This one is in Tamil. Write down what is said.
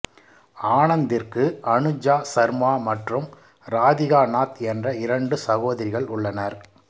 ஆனந்திற்கு அனுஜா சர்மா மற்றும் ராதிகா நாத் என்ற இரண்டு சகோதரிகள் உள்ளனர்